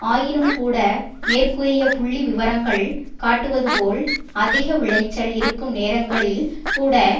ஆயினும்கூட மேற்கூறிய புள்ளிவிவரங்கள் காட்டுவது போல் அதிக விளைச்சல் இருக்கும் நேரங்களில்கூட